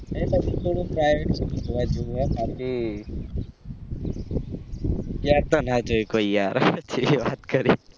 કારણ કે ત્યાતો ના જી શકો યાર ચેવિ વાત કરી